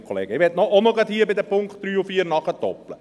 Ich möchte hier auch noch zu den Punkten 3 und 4 nachdoppeln.